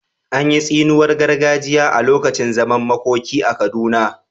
An yi tsiniwar gargajiya a lokacin zaman makoki a Kaduna?